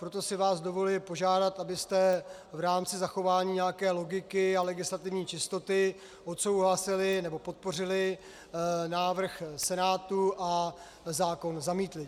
Proto si vás dovoluji požádat, abyste v rámci zachování nějaké logiky a legislativní čistoty odsouhlasili nebo podpořili návrh Senátu a zákon zamítli.